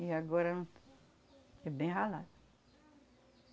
E agora é bem ralado.